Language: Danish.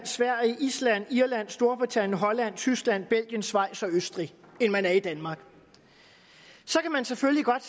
sverige island irland storbritannien holland tyskland belgien schweiz og østrig end man er i danmark så kan man selvfølgelig godt